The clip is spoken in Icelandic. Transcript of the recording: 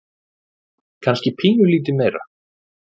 Kannski pínulítið meira.